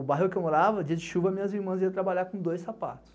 O bairro que eu morava, dia de chuva, minhas irmãs iam trabalhar com dois sapatos.